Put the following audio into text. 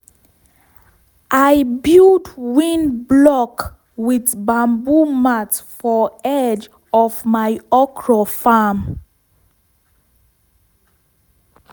i build wind block with bamboo mat for edge of my okra farm.